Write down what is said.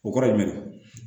O kɔrɔ ye jumɛn ye